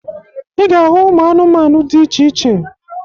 Ị ga-ahụ ụmụ anụmanụ dị iche iche.